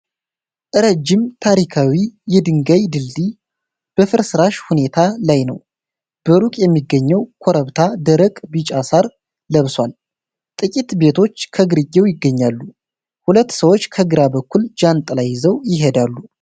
ረጅም ታሪካዊ የድንጋይ ድልድይ በፍርስራሽ ሁኔታ ላይ ነው። በሩቅ የሚገኘው ኮረብታ ደረቅ ቢጫ ሳር ለብሷል፤ ጥቂት ቤቶች ከግርጌው ይገኛሉ። ሁለት ሰዎች ከግራ በኩል ጃንጥላ ይዘው ይሄዳሉ።